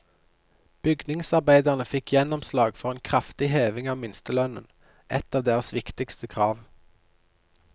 Bygningsarbeiderne fikk gjennomslag for en kraftig heving av minstelønnen, ett av deres viktigste krav.